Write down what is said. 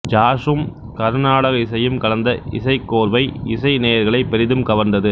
ஜாஸ்சும் கருநாடக இசையும் கலந்த இசைக்கோர்வை இசை நேயர்களை பெரிதும் கவர்ந்தது